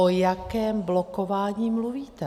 O jakém blokování mluvíte?